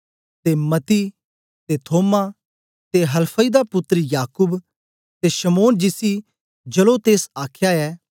ते मत्ती ते थोमा ते हलफई दा पुत्तर याकूब ते शमौन जिसी जेलोतेस आखया ऐ